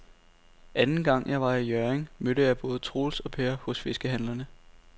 Anden gang jeg var i Hjørring, mødte jeg både Troels og Per hos fiskehandlerne.